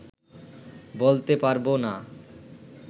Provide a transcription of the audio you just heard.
বলতে পারবো না